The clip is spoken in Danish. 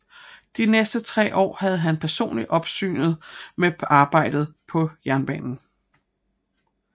De næste tre år havde han personligt opsynet med arbejdet på jernbanen